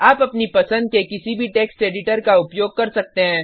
आप अपनी पसंद के किसी भी टेक्स्ट एडिटर का उपयोग कर सकते हैं